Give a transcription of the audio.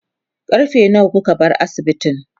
karfe nawa kuka bar asibitin?